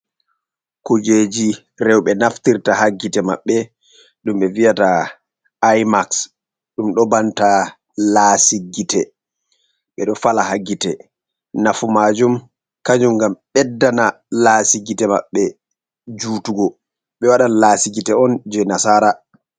Kujeji rewɓe naftirta haa gite maɓɓe, ɗum ɓe vi'ata aymaks , ɗum ɗo banta laasi gite, ɓe ɗo fala haa gite, nafu maajum kanjum ngam ɓeddana laasi gite maɓɓe jutugo, ɓe wadan laasi gite on jey nasaara.